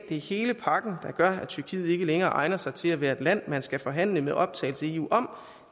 er hele pakken der gør at tyrkiet ikke længere egner sig til at være et land man skal forhandle med optagelse i eu om